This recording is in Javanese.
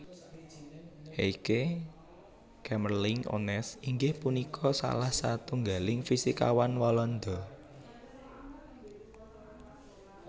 Heike Kamerlingh Onnes inggih punika salah satunggaling fisikawan Walanda